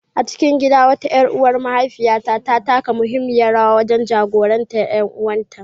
A cikin gida, wata ƴar uwar mahaifiyar ta taka muhimmiyar rawa, tana jagorantar ƴaƴan ƴan’uwanta.